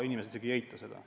Inimesed ei eita seda.